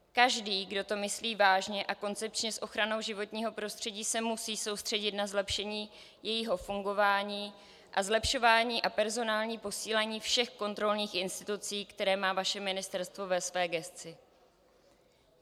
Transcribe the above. Každý, kdo to myslí vážně a koncepčně s ochranou životního prostředí, se musí soustředit na zlepšení jejího fungování a zlepšování a personální posílení všech kontrolních institucí, které má vaše ministerstvo ve své gesci.